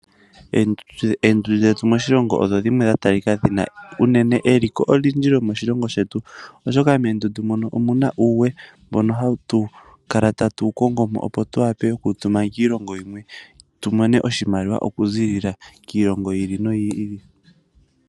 Eendundu dhetu moshilongo odho dhimwe dha talika dhina eliko enene lyomoshilongo shetu oshoka moondundu moka omuna uuwe mboka hatu kala taru wu kongo mo noku wu tuma kiilongo yimwe opo tu mone oshimaliwa oku ziilila kiilongo yi ili noyi ili.